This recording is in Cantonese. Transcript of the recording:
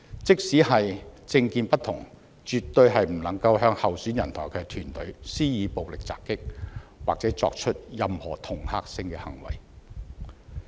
即使政見不同，也絕對不應向候選人及其團隊施以暴力襲擊，或作出任何恫嚇性的行為。